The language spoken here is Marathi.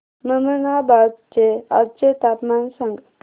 ममनाबाद चे आजचे तापमान सांग